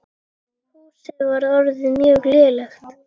Húsið var orðið mjög lélegt.